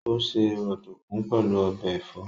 Ó se ọ̀dùkún pẹ̀lú ọbẹ̀ ẹ̀fọ́